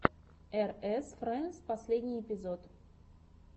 эр эс френдс последний эпизод